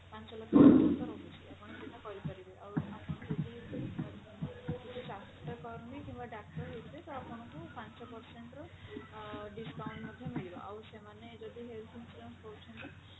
ପାଞ୍ଚ ଲକ୍ଷ ପର୍ଯ୍ୟନ୍ତ ରହୁଛି ଆପଣ ସେଟା କରିପାରିବେ ଆଉ ଆପଣ ଯଦି ସ୍ୱାସ୍ଥ୍ୟକର୍ମୀ କିମ୍ବା ଡାକ୍ତରହେଇଥିବେ ତ ଆପଣଙ୍କୁ ପାଞ୍ଚ percent ର ଅ discount ମଧ୍ୟ ମିଳିବ ଆଉ ସେମାନେ ଯଦି health insurance କରୁଛନ୍ତି